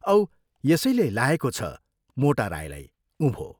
औ यसैले लाएको छ मोटा राईलाई उँभो।